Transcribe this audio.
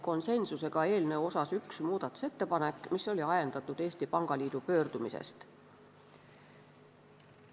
Konsensuslikult algatatigi eelnõu kohta üks muudatusettepanek, mis oli ajendatud Eesti Pangaliidu pöördumisest.